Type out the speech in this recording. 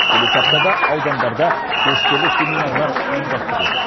келесі аптада аудандарда көшпелі семинарлар ұйымдастырылады